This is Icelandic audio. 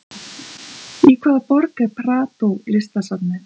Í hvaða borg er Prado listasafnið?